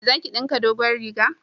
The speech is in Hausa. Za ki dinka dogon riga?